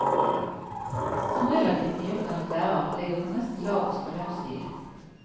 Som relativt nyutdannet lærer ligger hun nesten lavest på lønnsstigen.